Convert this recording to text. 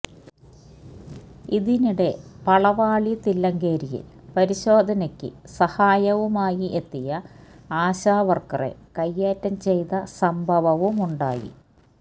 ഇതിനിടെ പളവാളി തില്ലങ്കേരിയിൽ പരിശോധനയ്ക്കു സഹായവുമായി എത്തിയ ആശാ വർക്കറെ കയ്യേറ്റം ചെയ്ത സംഭവവുമുണ്ടായി